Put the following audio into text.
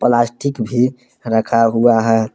Plastic भी रखा हुआ है।